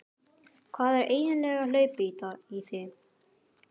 Hvað er eiginlega hlaupið í þig?